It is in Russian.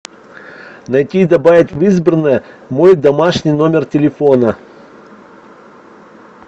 найти и добавить в избранное мой домашний номер телефона